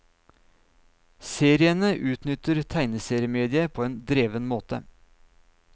Seriene utnytter tegneseriemediet på en dreven måte.